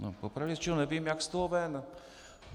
Po pravdě řečeno nevím, jak z toho ven.